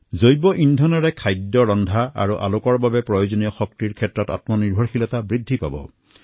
বায়গেছৰ দ্বাৰা খাদ্য ৰন্ধা তথা পোহৰৰ বাবে শক্তিৰ ক্ষেত্ৰত আত্মনিৰ্ভৰতা বৃদ্ধি হব